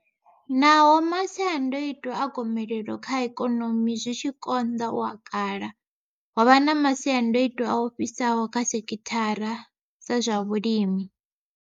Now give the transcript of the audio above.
Naho masiandaitwa a gomelelo kha ikonomi zwi tshi konḓa u a kala, ho vha na masiandaitwa a ofhisaho kha sekithara dza zwa vhulimi.